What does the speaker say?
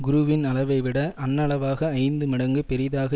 குருவின் அளவை விட அண்ணளவாக ஐந்து மடங்கு பெரியதாக